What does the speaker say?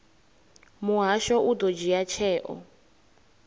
muhasho u ḓo dzhia tsheo